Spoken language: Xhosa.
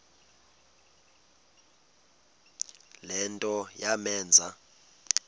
le nto yamenza